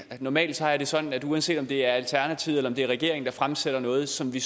normalt har jeg det sådan at uanset om det er alternativet eller det er regeringen der fremsætter noget som vi